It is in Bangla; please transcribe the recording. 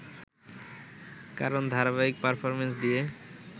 কারণ ধারাবাহিক পারফর্মেন্স দিয়ে